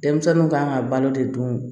Denmisɛnninw kan ka balo de dun